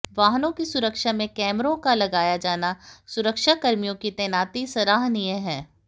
वाहनों की सुरक्षा में कैमरों का लगाया जाना व सुरक्षाकर्मियों की तैनाती सराहनीय है